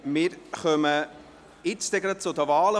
Wir kommen gleich zu den Wahlen.